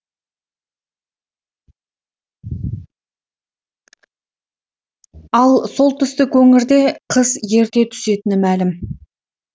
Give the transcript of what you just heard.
ал солтүстік өңірде қыс ерте түсетіні мәлім